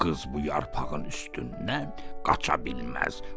Qız bu yarpağın üstündən qaça bilməz.